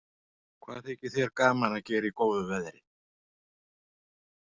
Hvað þykir þér gaman að gera í góðu veðri?